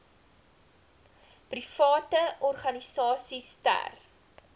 private organisasies ter